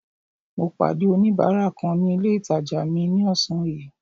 Mo pàdé oníbárà kan ní ilé ìtàjà mi ní ọ̀sán yìí.